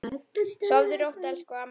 Sofðu rótt, elsku amma okkar.